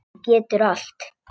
Þú getur allt.